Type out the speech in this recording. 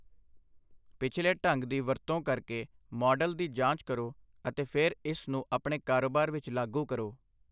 ਪਿਛਲੇ ਢੰਗ ਦੀ ਵਰਤੋਂ ਕਰਕੇ ਮਾਡਲ ਦੀ ਜਾਂਚ ਕਰੋ ਅਤੇ ਫਿਰ ਇਸ ਨੂੰ ਆਪਣੇ ਕਾਰੋਬਾਰ ਵਿੱਚ ਲਾਗੂ ਕਰੋ।